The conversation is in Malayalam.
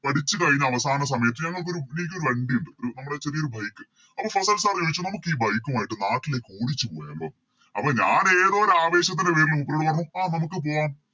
പഠിച്ച് കഴിഞ്ഞ് അവസാന സമയത്ത് ഞങ്ങക്കൊരു എനിക്കൊരു വണ്ടിയുണ്ട് നമ്മളെ ചെറിയൊരു Bike അപ്പൊ ഫസിൽ Sir ചോയിച്ചു നമുക്കി Bike ഉമായിട്ട് നാട്ടിലേക്ക് ഓടിച്ച് പോയാലോ അപ്പൊ ഞാന് ഏതോ ഒരാവേശത്തിൻറെ പേരിൽ മൂപ്പരോട് പറഞ്ഞു ആ നമുക്ക് പോകാം